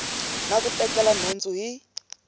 na ku tekela nhundzu hi